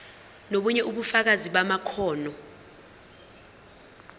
nobunye ubufakazi bamakhono